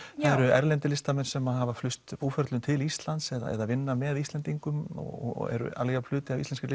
eru erlendir listamenn sem hafa flust búferlum til Íslands eða vinna með Íslendingum og eru alveg jafn hluti af íslenskri